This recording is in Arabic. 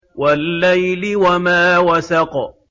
وَاللَّيْلِ وَمَا وَسَقَ